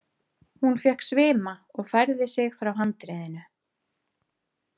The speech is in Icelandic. Hún fékk svima og færði sig frá handriðinu.